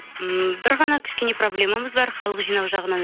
ммм бір ғана кішкене проблемамыз бар халық жинау жағынан